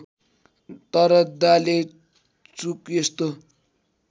तर डालेचुक यस्तो